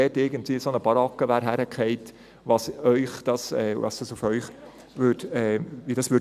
Überlegen sich, wie es auf Sie wirken würde, wenn dort irgendeine Baracke hingefallen wäre.